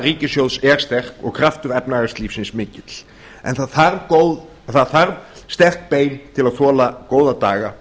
ríkissjóðs er sterk og kraftur efnahagslífsins mikill en það þarf sterk bein til að þola góða daga